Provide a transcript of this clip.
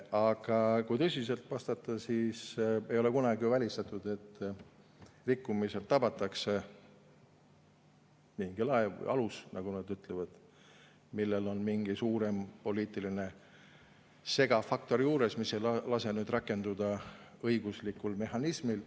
Aga kui tõsiselt vastata, siis ei ole kunagi välistatud, et rikkumiselt tabatakse mingi laev või alus, nagu nad ütlevad, millel on mingi suurem poliitiline segav faktor juures, mis ei lase rakenduda õiguslikul mehhanismil.